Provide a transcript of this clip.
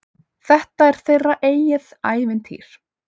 Þetta er þeirra eigið ævintýr.